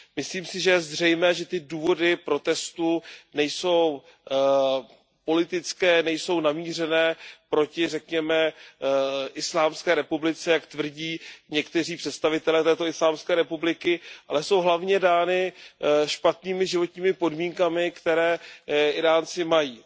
Myslím si, že je zřejmé, že ty důvody protestů nejsou politické, nejsou namířené proti, řekněme, Íránské islámské republice, jak tvrdí někteří představitelé této islámské republiky, ale jsou hlavně dány špatnými životními podmínkami, které Íránci mají.